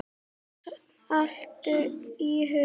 Saltur í augum.